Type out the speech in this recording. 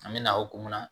An bɛ na hokumu kɔnɔ